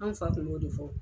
An fa kun b'o de fɔ.